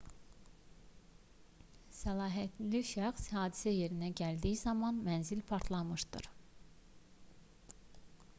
səlahiyyətli şəxs hadisə yerinə gəldiyi zaman mənzil partlamışdı